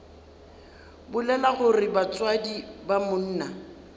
bolela gore batswadi ba monna